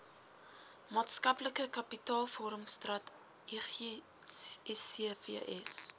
maatskaplike kapitaalvormingstrategie scfs